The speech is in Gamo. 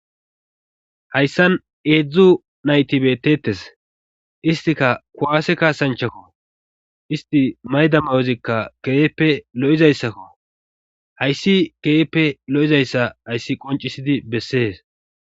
Hayssan eedzdzu nayti beeteetes istika kuwaase kaasanchakko isti mayda mayozikka keeyeppe lo'izayssakko hayssi keeeppe lo'izayssa hayssi qoncisidi bessees.